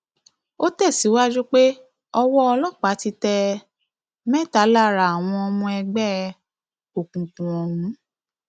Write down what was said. ó tẹsíwájú pé ọwọ ọlọpàá ti tẹ um mẹta lára àwọn ọmọ ẹgbẹ um òkùnkùn ọhún